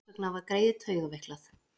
Þess vegna var greyið taugaveiklað.